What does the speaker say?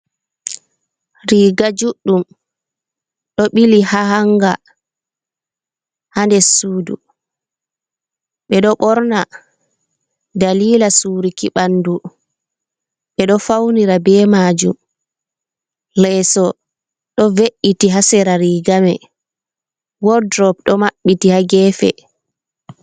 Riga juɗɗum do bili ha hanga, ha nde sudu be do borna dalila suruki bandu be do faunira be majum leeso do ve’’iti hasera rigame woldrop do mabbiti ha gefe.